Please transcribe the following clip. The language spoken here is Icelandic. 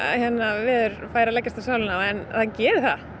veður fer að leggjast á sálina á en það gerir það